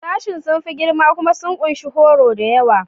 Sashen sun fi girma kuma sun ƙunshi horo da yawa.